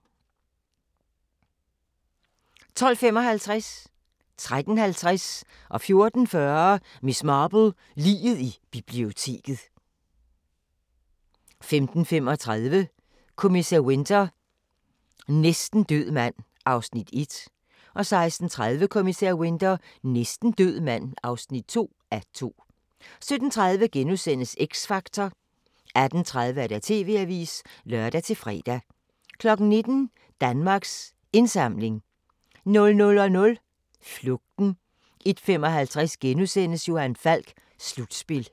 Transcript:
12:55: Miss Marple: Liget i biblioteket 13:50: Miss Marple: Liget i biblioteket 14:40: Miss Marple: Liget i biblioteket 15:35: Kommissær Winter: Næsten død mand (1:2) 16:30: Kommissær Winter: Næsten død mand (2:2) 17:30: X Factor * 18:30: TV-avisen (lør-fre) 19:00: Danmarks Indsamling 00:00: Flugten 01:55: Johan Falk: Slutspil *